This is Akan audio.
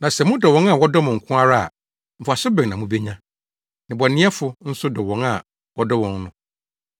“Na sɛ modɔ wɔn a wɔdɔ mo no nko ara a, mfaso bɛn na mubenya? ‘Nnebɔneyɛfo’ nso dɔ wɔn a wɔdɔ wɔn no.